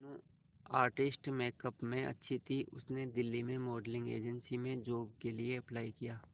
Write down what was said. Meenu artistic makeup में अच्छी थी उसने दिल्ली में मॉडलिंग एजेंसी में जॉब के लिए अप्लाई किया